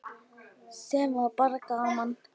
Sem var bara gaman.